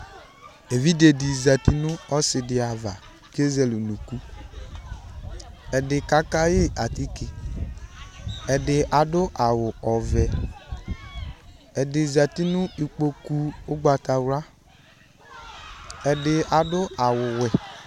Evidze dɩ zati nʋ ɔsɩ dɩ ava kʋ ezele unuku Ɛdɩ kaka yɩ atike Ɛdɩ adʋ awʋ ɔvɛ Ɛdɩ zati nʋ ikpoku ʋgbatawla Ɛdɩ adʋ awʋwɛ